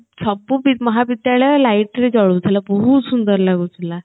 ସବୁ ମହାବିଦ୍ୟାଳୟ light ରେ ଜଳୁଥିଲା ବହୁତ୍ ସୁନ୍ଦର ଲାଗୁଥିଲା